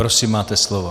Prosím, máte slovo.